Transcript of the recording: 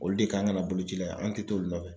Olu de kan ka na bolo ci la yan an tɛ t'olu nɔfɛ.